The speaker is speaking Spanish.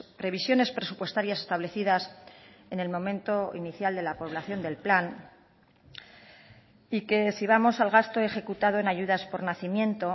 previsiones presupuestarias establecidas en el momento inicial de la población del plan y que si vamos al gasto ejecutado en ayudas por nacimiento